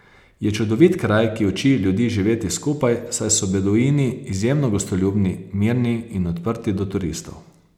Je čudovit kraj, ki uči ljudi živeti skupaj, saj so beduini izjemno gostoljubni, mirni in odprti do turistov.